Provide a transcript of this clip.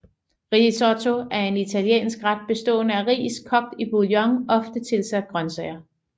Risotto er en italiensk ret bestående af ris kogt i bouillon ofte tilsat grønsager